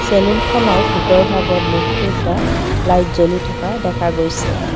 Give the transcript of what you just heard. চেলুনখনৰ ভিতৰ ভাগত বহুকেইটা লাইট জ্বলি থকা দেখা গৈছে।